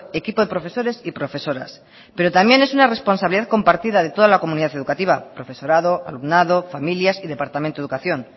equipo de profesores y profesoras pero también es una responsabilidad compartida de toda la comunidad educativa profesorado alumnado familias y departamento de educación